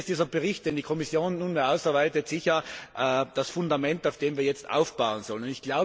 Hier ist der Bericht, den die Kommission nunmehr ausarbeitet, sicher das Fundament, auf dem wir jetzt aufbauen sollen.